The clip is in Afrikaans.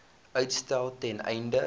uitstel ten einde